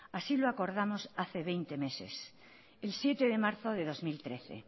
así lo acordamos hace veinte meses el siete de marzo del dos mil trece